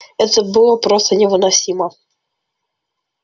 это было просто невыносимо